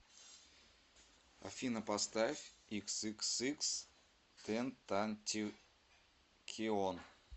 афина поставь иксиксикстентакион